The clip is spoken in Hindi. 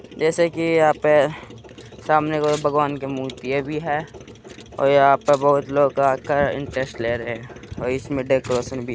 जैसे कि यहाँ पे सामने एक भगवान की मूर्तिया भी हैं और यहाँ पे बहोत लोग आकर इंटरेस्ट ले रहें हैं और इसमें डेकोरेशन भी --